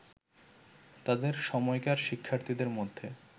তাদের সময়কার শিক্ষার্থীদের মধ্যে